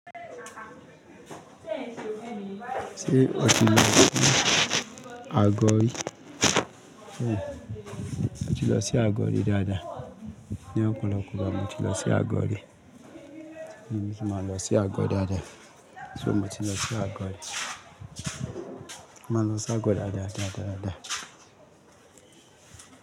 Ṣé o ti lọ sí Agodi? mO ti lọ sí Agodi dáadáa. Ní ọpọlọpọ ìgbà mo ti lọ sí Agodi. Mo ti máa ń lọ sí Ago dáadáa. So mo ti lọ sí Ago ri. Mo máa ń lọ sí Agodi dáadáa.